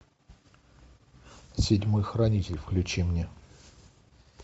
седьмой хранитель включи мне